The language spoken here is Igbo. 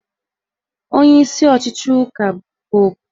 Onyeisi ọchịchị ụka bụ Popu